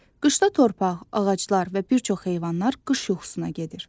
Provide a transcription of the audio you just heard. Qışda torpaq, ağaclar və bir çox heyvanlar qış yuxusuna gedir.